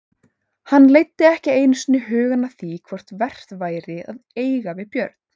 Hann leiddi ekki einu sinni hugann að því hvort vert væri að eiga við Björn.